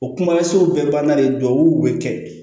O kumasen bɛɛ banna de duw be kɛ